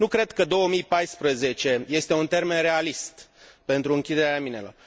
Nu cred că 2014 este un termen realist pentru închiderea minelor.